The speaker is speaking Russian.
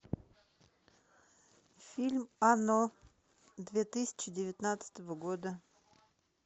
фильм оно две тысячи девятнадцатого года